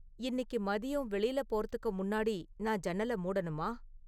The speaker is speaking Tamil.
இன்னிக்கு மதியம் வெளியில போறதுக்கு முன்னாடி நான் ஜன்னல மூடணுமா?